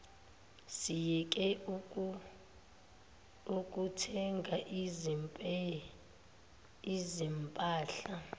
siyeke ukuthenga izimpahla